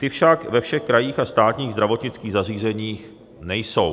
Ty však ve všech krajích a státních zdravotnických zařízeních nejsou.